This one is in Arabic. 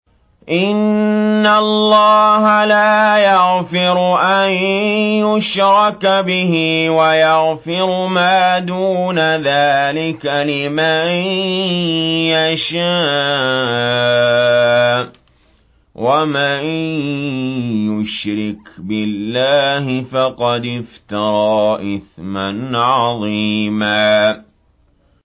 إِنَّ اللَّهَ لَا يَغْفِرُ أَن يُشْرَكَ بِهِ وَيَغْفِرُ مَا دُونَ ذَٰلِكَ لِمَن يَشَاءُ ۚ وَمَن يُشْرِكْ بِاللَّهِ فَقَدِ افْتَرَىٰ إِثْمًا عَظِيمًا